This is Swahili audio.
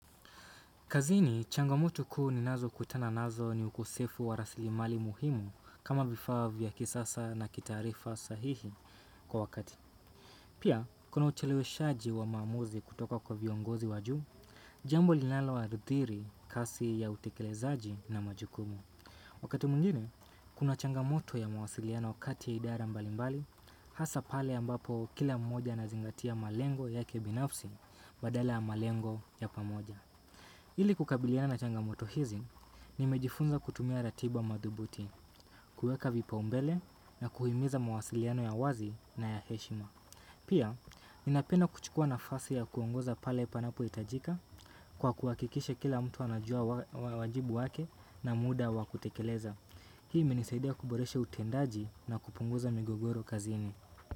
Kazini, changamotulo kuu ninazo kutana nazo ni ukosefu wa raslimali muhimu kama vifaa vya kisasa na kitaarifa sahihi kwa wakati. Pia, kuna ucheleweshaji wa maamuzi kutoka kwa viongozi wa juu, jambo linalo athiri kasi ya utekelezaji na majukumu. Wakati mwngine, kuna changamoto ya mawasiliano kati ya idara mbalimbali, hasa pale ambapo kila mmoja anazingatia malengo yake binafsi badala ya malengo ya pamoja. Ili kukabiliana na changamoto hizi, nimejifunza kutumia ratiba madhubuti, kueka vipaumbele na kuhimiza mawasiliano ya wazi na ya heshima. Pia, ninapenda kuchukua nafasi ya kuongoza pale panapo itajika kwa kuhakikisha kila mtu anajua wajibu wake na muda wakutekeleza. Hii imenisaidia kuboreshe utendaji na kupunguza migogoro kazini.